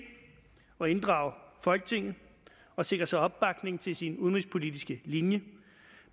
at inddrage folketinget og sikre sig opbakning til sin udenrigspolitiske linje